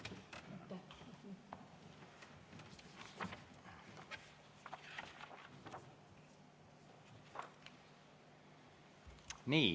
Nii.